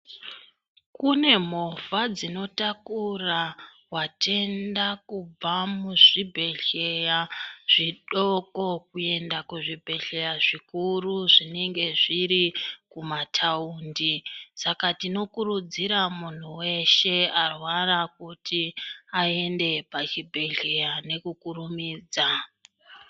Kune movha dzinotakura vatenda kubva muzvibhedhleya zvidoko kuenda kuzvibhedhleya zvikuru zvinenge zviri kumataundi. Saka tinokurudzira muntu veshe arwara kuti aende pachibhedhleya nekukurumidza.